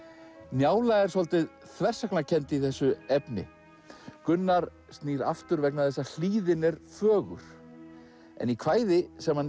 njála er svolítið þversagnakennd í þessu efni Gunnar snýr aftur vegna þess að hlíðin er fögur en í kvæði sem hann